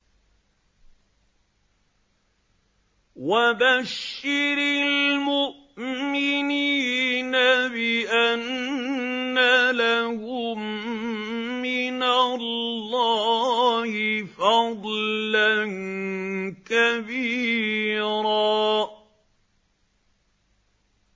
وَبَشِّرِ الْمُؤْمِنِينَ بِأَنَّ لَهُم مِّنَ اللَّهِ فَضْلًا كَبِيرًا